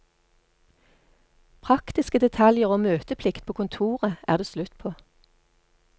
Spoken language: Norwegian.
Praktiske detaljer og møteplikt på kontoret er det slutt på.